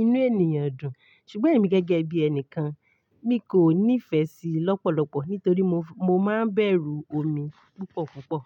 inú ènìyàn dùn. Ṣùgbọ́n èmi gẹ́gẹ́ bí ẹni kan, mi kò nífẹ̀ẹ́ sí i lọ́pọ̀lọpọ̀ nítorí, mo máa ń bẹ̀rù omi púpọ̀ púpọ̀.